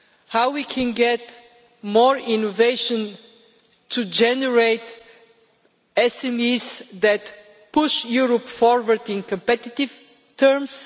how can we get more innovation to generate SMEs that push Europe forward in competitive terms